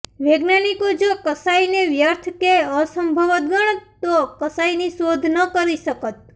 વૈજ્ઞાાનિકો જો કશાયને વ્યર્થ કે અસંભવ ગણત તો કશાયની શોધ ન કરી શકત